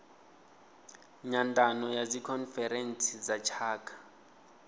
nyandano ya dzikhonferentsi dza tshaka